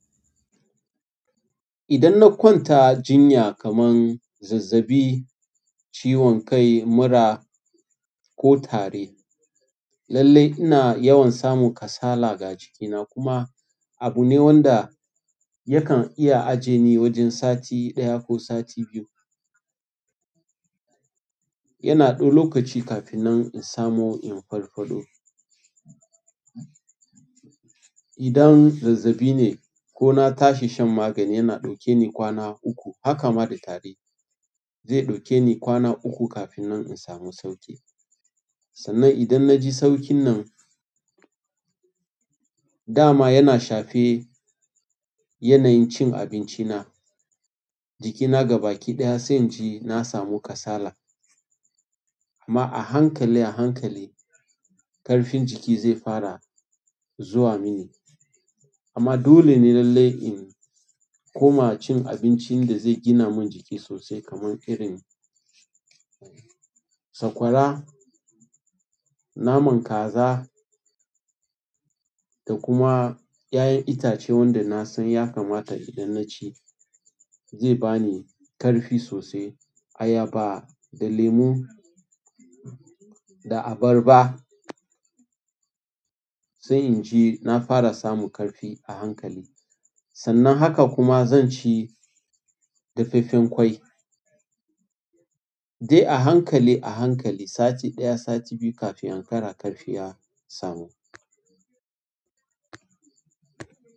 Idan na kwanta jinya kaman zazzabi, ciwon kai, mura ko tari, lallai ina yawan samun kasala ga jikina. Kuma abu ne wanda yakan iya aje ni wajen sati ɗaya ko sati biyu. Yana ɗaui okaci kafin nan in samu in farfado. Idan zazzabi ne ko na tashi shan magani, yana ɗauke ni kwana uku. Haka ma da tari, zai ɗauke ni kwana uku kafin nan in samu sauƙi. Sannan idan na ji sauƙin nan, dama yana shafe yanayin cin abinci na. Jikina gaba ki ɗaya sai inji na samu kasala. Amma a hankali a hankali, ƙarfin jiki zai fara zuwa mini. Amma dole ne lallai in koma cin abincin da zai gina min jiki sosai kaman irin sakwara, naman kaza da kuma ya'yan itace wanda na san ya kamata idan na ci, zai bani ƙarfi sosai. Ayaba da lemu da abarba sai inji na fara samu ƙarfi a hankali. Sannan haka kuma zan ci dafaffen ƙwai. Dai a hankali a hankali sati ɗaya, sati biyu kafin ankara ƙarfi ya samu.